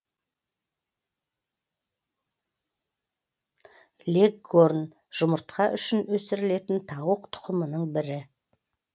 леггорн жұмыртқа үшін өсірілетін тауық тұқымының бірі